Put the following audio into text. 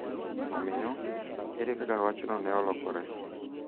Omiyo, ere kaka wachno ne olokore?